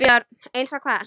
BJÖRN: Eins og hvað?